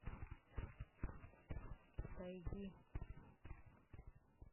тайги